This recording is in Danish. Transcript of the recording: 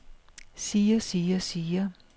siger siger siger